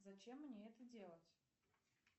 зачем мне это делать